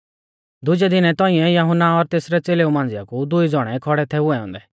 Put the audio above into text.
दुजै दिनै तौंइऐ यहुन्ना और तेसरै च़ेलेऊ मांझ़िया कु दुई ज़ौणै खौड़ै थै हुऐ औन्दै